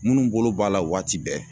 Minnu bolo b'a la waati bɛɛ